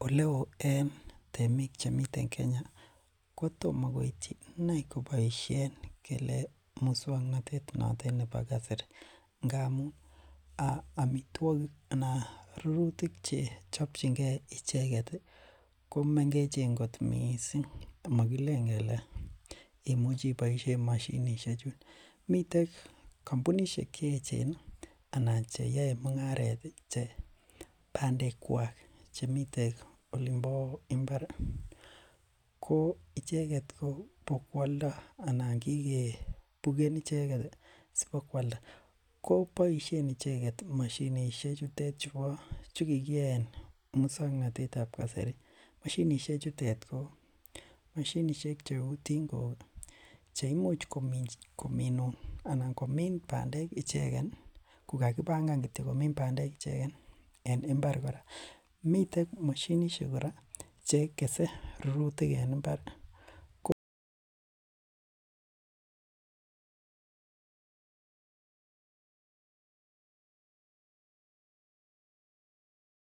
Oleo en temik chemiten Kenya ii kotomo koityi inei koboisien ngele musong'notet notet nebo kasari ngamun omitwogik anan rurutik chechobjingen icheget ko mengechen kot missing mogilen kele imuchi iboisien moshinisiekchu, miten kompunisiek cheechen anan cheyoe mungaret ii che bandekwak chemiten olimpo mbar ii ko icheget bo kwoldo anan kigebuken icheget sibokwolda, ko boisien icheget mashinisiek chutet chukigiyaen musong'notet ab kasari, mashinisiek chutet ko mashinisiek cheu tongok cheimuch kominun anan komin bandek ichegen ii kogakibangan kityo komin bandek ichegen en mbar kora, miten mashinisiek kora che gese rurutik en mbar ko